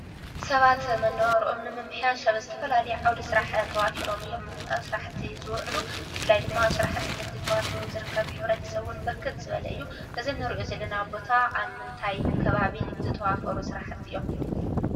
ሰባት መናባብሮኦሞ ንምምሕያሽ ኣብ ዝተፋላለየ ዓዉደ ስራሕት ተዋፍሮም እዮም። ኣብ ስራሕቲ ዝዉዑሉ ብፍላይ ድማ ኣብ ስራሕቲ ንግዲ ዝርከቡ ሕብርተሰብ ብርክት ዝበሉ እዮም። እዚ እንሪኦ ዘለና ቦታ ኣብ ምንታይ ከባቢ ዝተዋፈሩ ስራሕቲ እዩ?